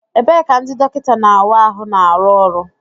Ebee ka ndị dọkịta na-awa ahụ na-arụ ọrụ?